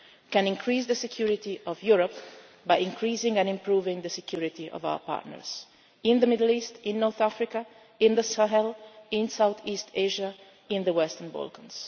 diversity. We can increase the security of Europe by increasing and improving the security of our partners in the Middle East, in North Africa, in the Sahel, in South East Asia, in the Western